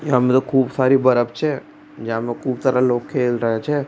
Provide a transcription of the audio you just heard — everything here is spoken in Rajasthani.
यह पर खूब सारा बर्फ छे जाम खूब सारा लोग खेल रा छ।